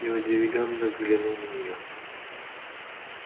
я удивлённо взглянул на нее